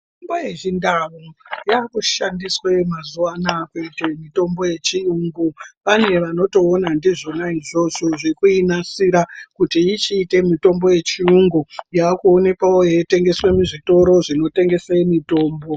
Mitombo yechindau yaakushandiswe mazuwa anaya kuite mitombo yechiyungu. Pane vanotoona ndizvona izvozvo zvekuinasira kuti ichiite mutombo yechiyungu yavakuonekwawo yeitengeswa muzvitoro zvinotengese mitombo.